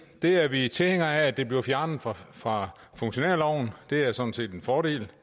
det er vi tilhængere af bliver fjernet fra fra funktionærloven det er sådan set en fordel